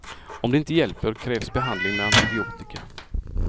Om det inte hjälper krävs behandling med antibiotika.